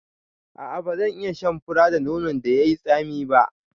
A'a bazan iya shan fura da nonon da yai tsami ba